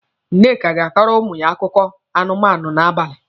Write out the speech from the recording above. Nneka ga-akọrọ ụmụ ya akụkọ anụmanụ n'abalị.